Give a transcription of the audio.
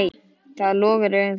Það logar í augum þínum.